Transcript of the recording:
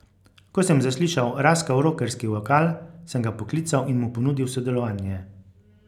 Ko sem zaslišal raskav rokerski vokal, sem ga poklical in mu ponudil sodelovanje.